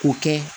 K'o kɛ